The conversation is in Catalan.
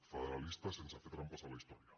federalistes sense fer trampes a la història